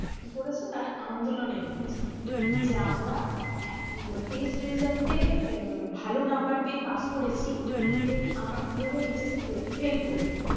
কি করেছে তারা আন্দোলনে নেমেছে। হম যে আমরা test result এ ভালো নাম্বার পেয়ে পাশ করেছি then আমার কিভাবে HS এ fail করলাম।